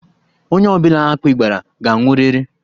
Onye ọ bụla akpị gbara, ga anwụrịrị.